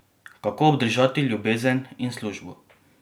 Kako obdržati ljubezen in službo?